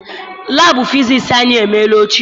Laabụ fisiisi anyị emeela ochie.